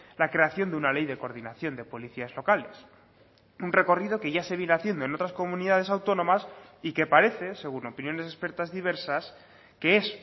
la creación de una ley de coordinación de policías locales un recorrido que ya se viene haciendo en otras comunidades autónomas y que parece según opiniones expertas diversas que es